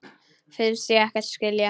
Finnst ég ekkert skilja.